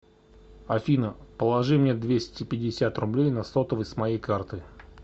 афина положи мне двести пятьдесят рублей на сотовый с моей карты